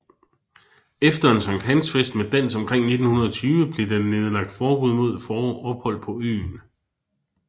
Efter en sankthansfest med dans omkring 1920 blev der nedlagt forbud mod ophold på øen